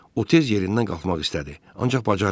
O tez yerindən qalxmaq istədi, ancaq bacarmadı.